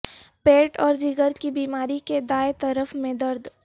پیٹ اور جگر کی بیماری کے دائیں طرف میں درد